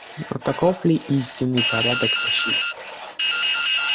но таков ли истинный порядок вещей